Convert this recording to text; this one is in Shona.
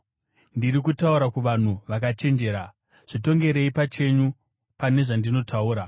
Ndiri kutaura kuvanhu vakachenjera; zvitongerei pachenyu pane zvandinotaura.